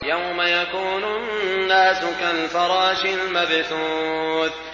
يَوْمَ يَكُونُ النَّاسُ كَالْفَرَاشِ الْمَبْثُوثِ